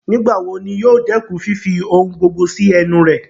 Nigbawo ni yoo dẹkun fifi ohun gbogbo si ẹnu rẹ?